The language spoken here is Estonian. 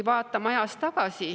Vaatame ajas tagasi.